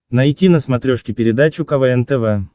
найти на смотрешке передачу квн тв